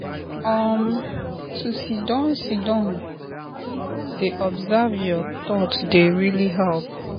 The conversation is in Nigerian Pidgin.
um to siddon siddon dey observe your thoughts dey really help.